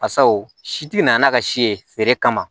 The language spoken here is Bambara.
Basaw si tɛ na n'a ka si ye feere kama